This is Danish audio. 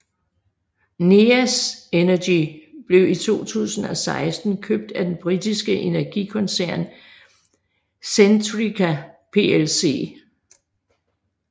Neas Energy blev i 2016 købt af den britiske energikoncern Centrica Plc